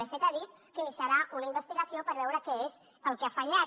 de fet ha dit que iniciarà una investigació per veure què és el que ha fallat